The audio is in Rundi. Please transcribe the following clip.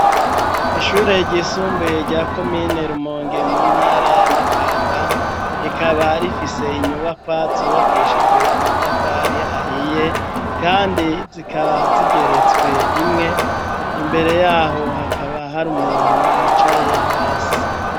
Ishure ryisumbuye rya komine rumonge mu ntara yamakamba rikaba rifise inyubakwa zubakishijwe amatafari ahiye, kandi zikaba zigeretswe rimwe imbere yaho hakaba hari umuntu yicaye hasi.